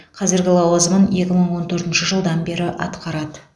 қазіргі лауазымын екі мың он төртінші жылдан бері атқарады